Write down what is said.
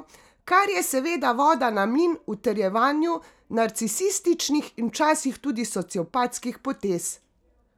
Kar je seveda voda na mlin utrjevanju narcisističnih in včasih tudi sociopatskih potez.